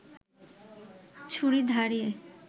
ছুরি ধারিয়ে